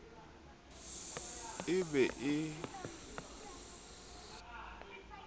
e be e phethilwe ka